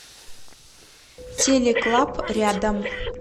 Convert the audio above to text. телеклаб рядом